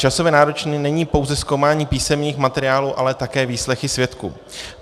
Časově náročné není pouze zkoumání písemných materiálů, ale také výslechy svědků.